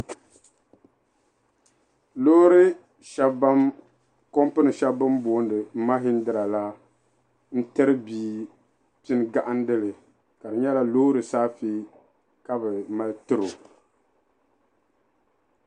Loori kompini sheli bini booni mahindira la n tiri bia pini gahindili ka di nyɛla Loori saafe ka bɛ mali tiri o.